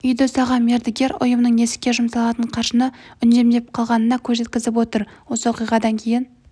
үйді салған мердігер ұйымның есікке жұмсалатын қаржыны үнемдеп қалғанына көз жеткізіп отыр осы оқиғадан кейін